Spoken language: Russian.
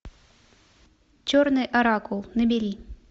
черный оракул набери